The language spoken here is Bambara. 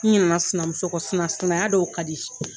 I ɲinɛna sinamuso ko, sinaya dɔw ka di.